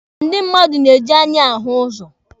Ndị mmadụ na-eji anya ahụ ụzọ.